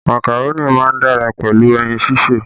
Màkàró má ń dára pẹ̀lú ẹyin sísè